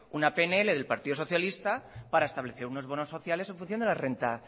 una pnl del partido socialista para establecer unos bonos sociales en función de la renta